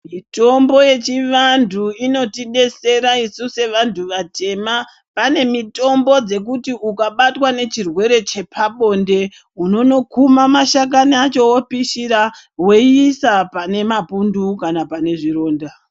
Mitombo yechivantu inotidetsera kuti isu sevantu vatema. Pane mitombo dzekuti ukabatwe ngechirwere chepabonde, unonokuma mashakani acho wopisha, weiisa pane mapundu kana panezvironda maronda.